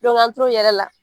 an tor'o yɛlɛ la.